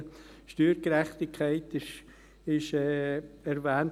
Die Steuergerechtigkeit wurde erwähnt.